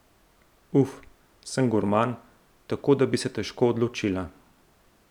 Uf, sem gurman, tako da bi se težko odločila...